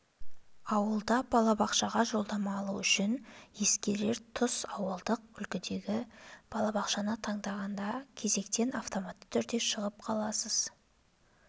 ауылда балабақшаға жолдама алу үшін ескерер тұс ауылдық үлгідегі балабақшаны таңдағанда кезектен автоматты түрде шығып қаласыз